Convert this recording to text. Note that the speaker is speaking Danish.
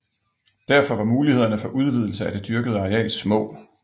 Derfor var mulighederne for udvidelse af det dyrkede areal små